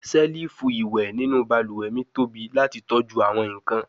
selifu iwẹ ninu baluwe mi tobi lati tọju awọn nkan